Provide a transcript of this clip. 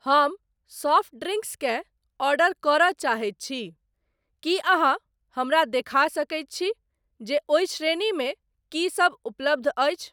हम soft drinks केँ order करय चाहैत छी, की अहाँ हमरा देखा सकैत छी जे ओहि श्रेणी मे की सब उपलब्ध अछि ?